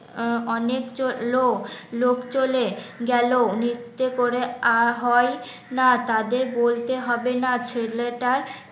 অনেক জো লোক লোক চলে গেল নিত্যে করে আর হয় না তাদের বলতে হবে না ছেলেটার